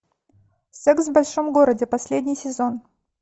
секс в большом городе последний сезон